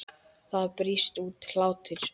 Það brýst út hlátur.